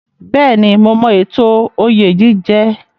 Bẹ́ẹ̀ni, mo mọ ètò oyè jíjẹ.